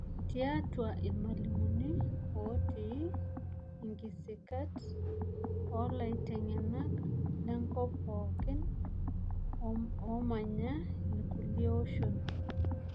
Tiatua irmalimuni ooti nkisikat olaiteng'enak lenkop pookin oomanya irkulie oshon.